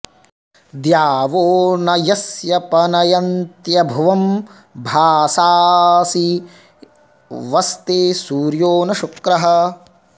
द्यावो॒ न यस्य॑ प॒नय॒न्त्यभ्वं॒ भासां॑सि वस्ते॒ सूर्यो॒ न शु॒क्रः